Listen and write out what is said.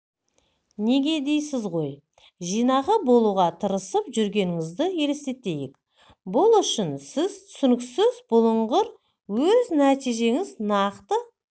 неге дейсіз ғой жинақы болуға тырысып жүргеніңізді елестетейік бұл үшін сіз түсініксіз бұлыңғыр өз нәтижеңіз нақты